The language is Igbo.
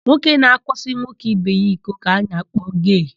Nwoke na-akwaso nwoke ibe ya iko ka a na-akpọ gee.